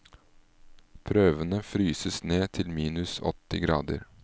Prøvene fryses ned til minus åtti grader.